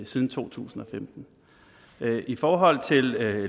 siden to tusind og femten i forhold til